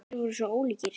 Þeir voru svo ólíkir.